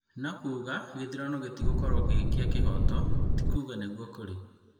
No kuuga gĩthurano gĩtigũkorwo gĩ kĩa kĩhooto ti kuuga nĩguo kũrĩ.